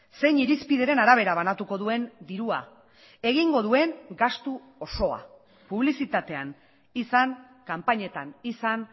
zein irizpideren arabera banatuko duen dirua egingo duen gastu osoa publizitatean izan kanpainetan izan